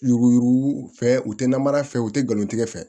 Yuruku yuruku fɛ u tɛ namara fɛ u tɛ ngalontigikɛ fɛ